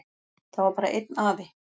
Það var bara einn afi.